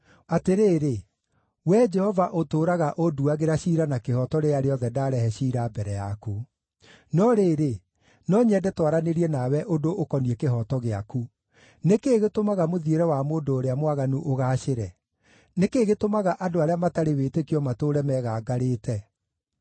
Atĩrĩrĩ, Wee Jehova ũtũũraga ũnduagĩra ciira na kĩhooto rĩrĩa rĩothe ndarehe ciira mbere yaku. No rĩrĩ, no nyende twaranĩrie nawe ũndũ ũkoniĩ kĩhooto gĩaku: Nĩ kĩĩ gĩtũmaga mũthiĩre wa mũndũ ũrĩa mwaganu ũgaacĩre? Nĩ kĩĩ gĩtũmaga andũ arĩa matarĩ wĩtĩkio matũũre megangarĩte?